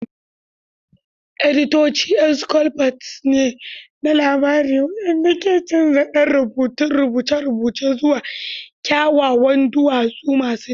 Editoci ƴan sculptors ne na labari waɗanda ke canza ɗan rubutun rubuce-rubucen zuwa kyawawan duwatsu masu daraja.